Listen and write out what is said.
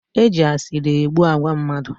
E ji asịrị egbu agwa mmadụ